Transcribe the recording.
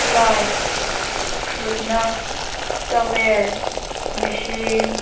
light ṭhutna towel machine --